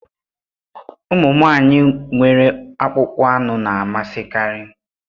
Ụmụ nwanyị nwere akpụkpọ anụ na-amasịkarị